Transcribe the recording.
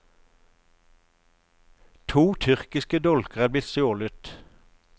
To tyrkiske dolker er blitt stjålet.